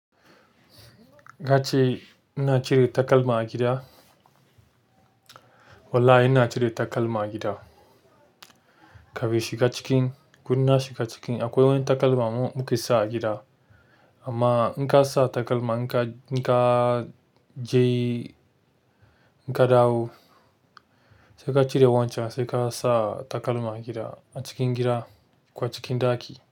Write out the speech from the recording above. Ka ce ina cire takalma a gida? Wallahi ina cire takalma a gida. Ka fin shiga cikin, ko inna shiga cikin akwai wani takalma mu muke sawa gida. Amma in ka sa takalma in ka, in ka je, in ka dawo sai ka cire wancan sai ka sa takalma a gida a cikin gida ko cikin ɗaki.